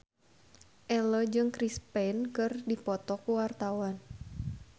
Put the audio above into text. Ello jeung Chris Pane keur dipoto ku wartawan